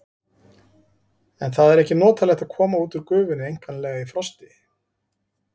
En það er ekki notalegt að koma út úr gufunni einkanlega í frosti.